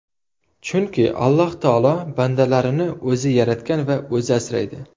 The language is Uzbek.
Chunki Alloh taolo bandalarini o‘zi yaratgan va o‘zi asraydi.